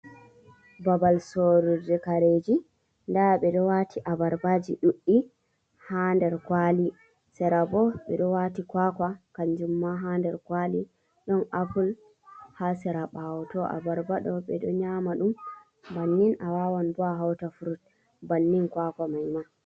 Ɓabal sorurji kareji :Daa ɓe ɗo wati abarbaji dudɗi ha nder kwali sera bo ɓe wati kwakwa kanjum ma ha nder kwali ɗon apple ha sera bawo to abarba ɗo ɓe ɗo nyama ɗum bannin a wawan bo a hauta furut bannin kwakwa mai ma.